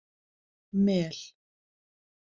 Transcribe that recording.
Mel